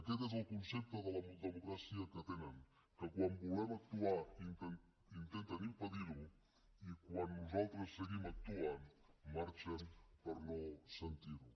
aquest és el concepte de democràcia que tenen que quan volem actuar intenten impedir ho i quan nosaltres seguim actuant marxen per no sentir ho